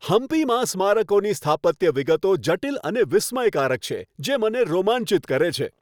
હમ્પીમાં સ્મારકોની સ્થાપત્ય વિગતો જટિલ અને વિસ્મયકારક છે, જે મને રોમાંચિત કરે છે.